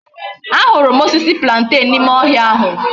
A huru m osisi plantain na ime ohia ahu